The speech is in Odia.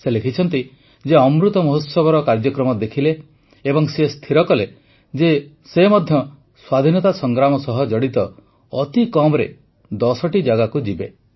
ସେ ଲେଖିଛନ୍ତି ଯେ ସେ ଅମୃତ ମହୋତ୍ସବର କାର୍ଯ୍ୟକ୍ରମ ଦେଖିଲେ ଏବଂ ସ୍ଥିର କଲେ ଯେ ସେ ମଧ୍ୟ ସ୍ୱାଧୀନତା ସଂଗ୍ରାମ ସହ ଜଡ଼ିତ ଅତି କମ୍ରେ ଦଶଟି ଜାଗାକୁ ଯିବେ